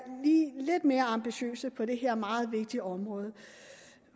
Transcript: lige mere ambitiøse på det her meget vigtige område